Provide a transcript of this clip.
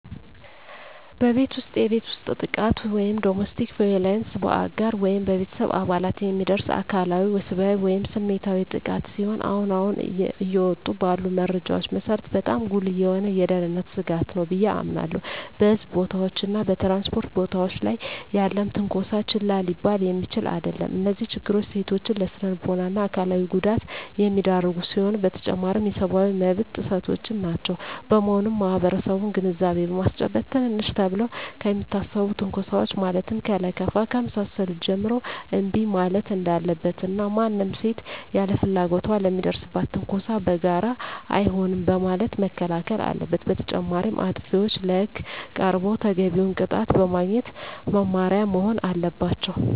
በቤት ውስጥ የቤት ውስጥ ጥቃት (Domestic Violence): በአጋር ወይም በቤተሰብ አባላት የሚደርስ አካላዊ፣ ወሲባዊ ወይም ስሜታዊ ጥቃት ሲሆን አሁን አሁን እየወጡ ባሉ መረጃዎች መሰረት በጣም ጉልህ የሆነ የደህንነት ስጋት ነው ብየ አምናለሁ። በሕዝብ ቦታዎች እና በ ትራንስፖርት ቦታወች ላይ ያለም ትነኮሳ ችላ ሊባል የሚችል አደለም። እነዚህ ችግሮች ሴቶችን ለስነልቦና እና አካላዊ ጉዳት የሚዳርጉ ሲሆኑ በተጨማሪም የሰብአዊ መብት ጥሰቶችም ናቸው። በመሆኑም ማህበረሰቡን ግንዛቤ በማስጨበጥ ትንንሽ ተብለው ከሚታሰቡ ትንኮሳወች ማለትም ከለከፋ ከመሳሰሉት ጀምሮ እንቢ ማለት እንዳለበት እና ማንም ሴት ያለ ፍላጎቷ ለሚደርስባት ትንኮሳ በጋራ አይሆንም በማለት መከላከል አለበት። በተጨማሪም አጥፊዎች ለህግ ቀርበው ተገቢውን ቅጣት በማግኘት መማሪያ መሆን አለባቸው።